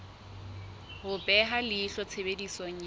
ho beha leihlo tshebediso ya